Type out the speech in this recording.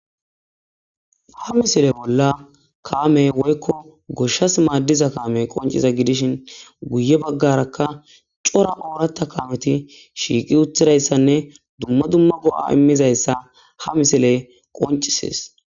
Ha missile bola kame woyko goshas madiza kamey qonc'iza gidishin guye bagaraka c'ora oratha kameti shiqi utiraysa duma duma go'a imizayssa ha missile qonc'ses.